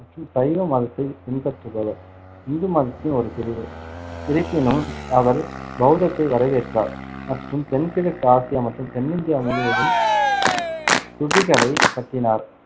மற்றும் சைவ மதத்தைப் பின்பற்றுபவர் இந்து மதத்தின் ஒரு பிரிவு இருப்பினும் அவர் பௌத்தத்தை வரவேற்றார் மற்றும் தென்கிழக்கு ஆசியா மற்றும் தென்னிந்தியா முழுவதும் ஸ்துபிகளைக் கட்டினார்.